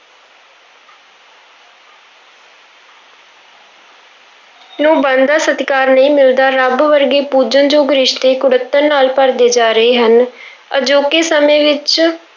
ਨੂੰ ਬਣਦਾ ਸਤਿਕਾਰ ਨਹੀਂ ਮਿਲਦਾ, ਰੱਬ ਵਰਗੇ ਪੂਜਣਯੋਗ ਰਿਸ਼ਤੇ ਕੁੜੱਤਣ ਨਾਲ ਭਰਦੇ ਜਾ ਰਹੇ ਹਨ ਅਜੋਕੇ ਸਮੇਂ ਵਿੱਚ